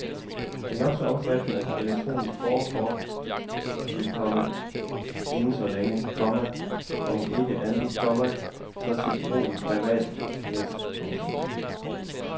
Det nok så omtalte elektroniske borgerkort vil komme inden så længe, komma om ikke andet, komma så til brug i private net. punktum